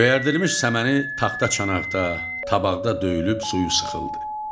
Göyərdilmiş səməni taxta çanaqda, tabaqda döyülüb suyu sıxıldı.